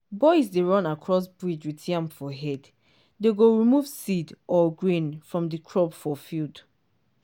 boys dey run across ridge with yam for head dey go remove seed or grain from the crop for field.